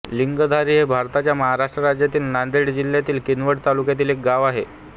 लिंगधारी हे भारताच्या महाराष्ट्र राज्यातील नांदेड जिल्ह्यातील किनवट तालुक्यातील एक गाव आहे